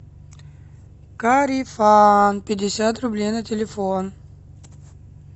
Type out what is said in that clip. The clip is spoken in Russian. корефан пятьдесят рублей на телефон